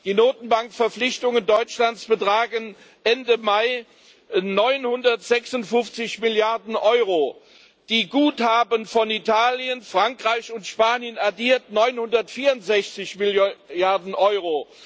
Die Notenbankverpflichtungen Deutschlands betragen Ende Mai 956 Milliarden Euro, die Guthaben von Italien, Frankreich und Spanien addiert 964 Milliarden Euro.